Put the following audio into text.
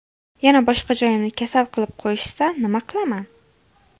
Yana boshqa joyimni kasal qilib qo‘yishsa, nima qilaman?!